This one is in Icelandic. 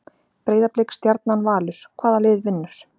Breiðablik, Stjarnan, Valur- hvaða lið vinnur?